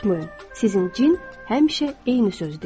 Unutmayın, sizin cin həmişə eyni söz deyir.